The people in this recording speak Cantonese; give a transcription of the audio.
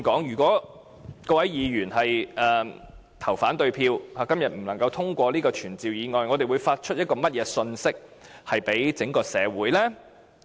如果各位議員對議案投反對票，以致今天不能通過這項傳召議案，我們會向整個社會發出甚麼信息呢？